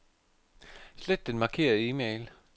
Slet den markerede e-mail.